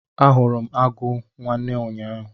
Ahụrụ m agụ nwanne ụnyaahụ.